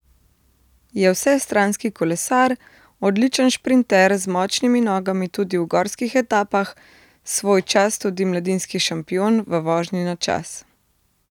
Je vsestranski kolesar, odličen šprinter z močnimi nogami tudi v gorskih etapah, svojčas tudi mladinski šampion v vožnji na čas.